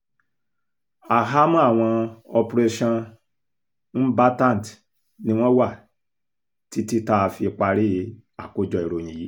ahámọ́ àwọn operationmbatant ni wọ́n wà títí tá a fi parí àkójọ ìròyìn yìí